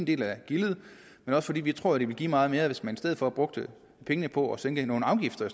del af gildet men også fordi vi tror at det vil give meget mere hvis man i stedet for brugte pengene på at sænke nogle afgifter